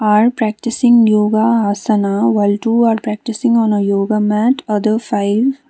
are practicing yoga ashana while two are practicing on a yoga mat other five --